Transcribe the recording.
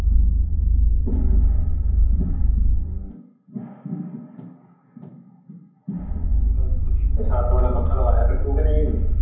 ਛੱਤ ਵਾਲਾ ਪੱਖਾ ਲਵਾਇਆ ਕ ਨਹੀਂ ਤੂੰ ਅਜੇ।